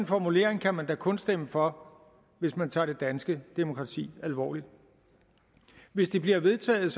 en formulering kan man da kun stemme for hvis man tager det danske demokrati alvorligt hvis det bliver vedtaget